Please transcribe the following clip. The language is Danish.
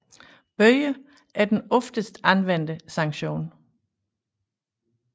Bøder er den oftest anvendte sanktion